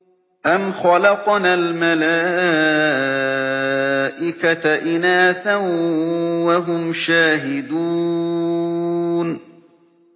أَمْ خَلَقْنَا الْمَلَائِكَةَ إِنَاثًا وَهُمْ شَاهِدُونَ